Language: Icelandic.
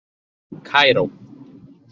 Kaíró